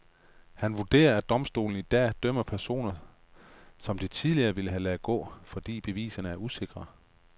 Han vurderer, at domstolene i dag dømmer personer, som de tidligere ville have ladet gå, fordi beviserne er usikre.